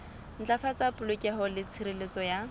ntlafatsa polokeho le tshireletso ya